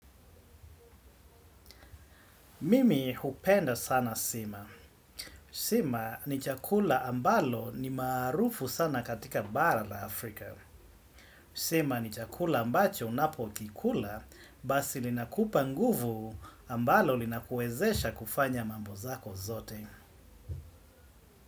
Mimi hupenda sana sima. Sima ni chakula ambalo ni maarufu sana katika bara la Afrika. Sima ni chakula ambacho unapokikula basi linakupa nguvu ambalo linakuwezesha kufanya mambo zako zote.